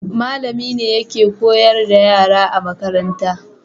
Mallami ne yake koyar da yara a makaranta